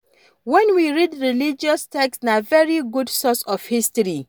When we read religious text na very good source of history